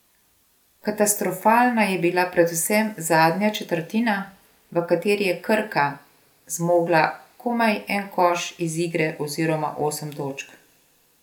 Katastrofalna je bila predvsem zadnja četrtina, v kateri je Krka zmogla komaj en koš iz igre oziroma osem točk.